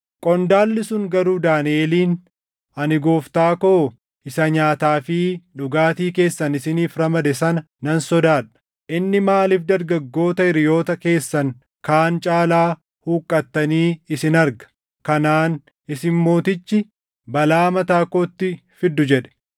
qondaalli sun garuu Daaniʼeliin, “Ani gooftaa koo isa nyaataa fi dhugaatii keessan isiniif ramade sana nan sodaadha; inni maaliif dargaggoota hiriyoota keessan kaan caalaa huqqattanii isin arga? Kanaan isin mootichi balaa mataa kootti fiddu” jedhe.